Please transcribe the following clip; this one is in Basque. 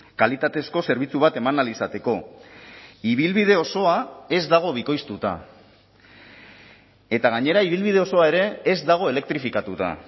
kalitatezko zerbitzu bat eman ahal izateko ibilbide osoa ez dago bikoiztuta eta gainera ibilbide osoa ere ez dago elektrifikatuta